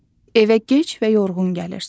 Evə gec və yorğun gəlirsən.